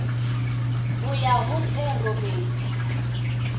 ho ya ho tse robedi